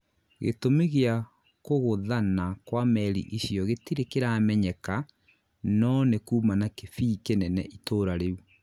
gĩtũmi gĩa kũgũthanabkwa meri icio gĩtire kĩramenyeka no nĩkuma na kĩbii kĩnene itũra riũ.